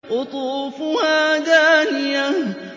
قُطُوفُهَا دَانِيَةٌ